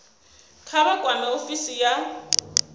kha vha kwame ofisi ya